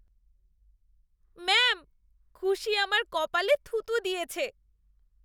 Ma'am, খুশি আমার কপালে থুথু দিয়েছে।